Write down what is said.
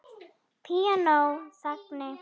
Píanó þagni!